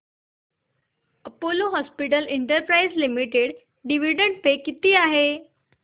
Apollo hospitals enterprise limited dividend pay किती आहे